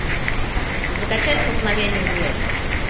закачай столкновение звезд